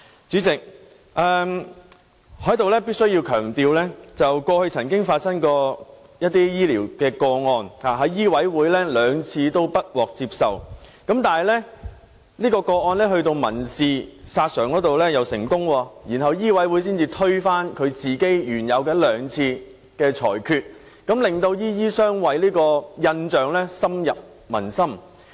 主席，我在此必須強調，過去曾有醫療個案在醫委會兩次不獲受理，但該宗個案卻民事索償成功，然後醫委會才推翻原有的兩次裁決，令"醫醫相衞"的印象深入民心。